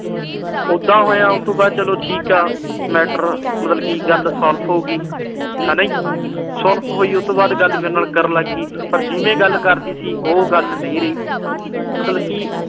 ਉਦਾਂ ਹੋਇਆ, ਉਤੋਂ ਬਾਅਦ ਚਲੋ ਠੀਕ ਆ। matter ਮਤਲਬ ਕੀ ਗੱਲ solve ਹੋ ਗਈ। ਹਨਾ ਜੀ। solve ਹੋਈ, ਉਹਤੋਂ ਬਾਅਦ ਗੱਲ ਮੇਰੇ ਨਾਲ ਕਰਨ ਲੱਗ ਪਈ। ਪਰ ਜਿਵੇਂ ਗੱਲ ਕਰਦੀ ਸੀ, ਉਹ ਗੱਲ ਨਹੀਂ ਰਹੀ ਮਤਲਬ ਕਿ